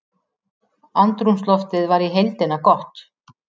Andrúmsloftið var í heildina gott